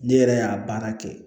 Ne yɛrɛ y'a baara kɛ